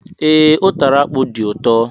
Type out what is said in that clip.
Ee, utara akpu do ụtọ